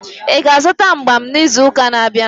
Ị ga-azụta mgbam n'izu na-abịa?